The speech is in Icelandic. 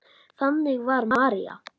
Þannig var María.